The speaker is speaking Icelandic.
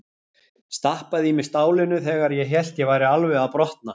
Stappaði í mig stálinu þegar ég hélt að ég væri alveg að brotna.